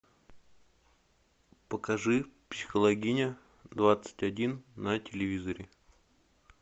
покажи психологиня двадцать один на телевизоре